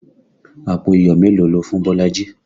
Àpò iyọ̀ mélòó lo fún Bolaji?